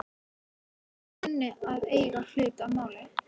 Ég óttast að hún kunni að eiga hlut að máli.